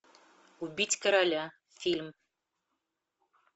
убить короля фильм